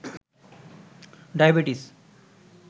diabetes